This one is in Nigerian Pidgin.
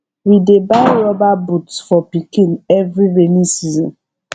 we dey buy rubber boot for pikin every rainy season